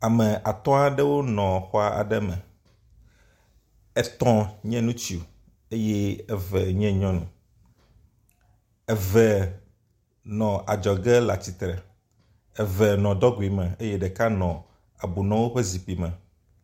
Ame atɔ̃ aɖewo nɔ xɔ aɖe me, etɔ̃ nye ŋutsu eye eve nye nyɔnu. Eve nɔ adzɔge le atsitre, eve nɔ …me eye ɖeka nɔ ebunɔwo ƒe zikpui me.